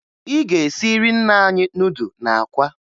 Ị ga-esiri nna anyị nudụ na akwa!